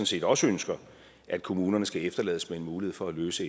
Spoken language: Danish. set også ønsker at kommunerne skal efterlades med en mulighed for at løse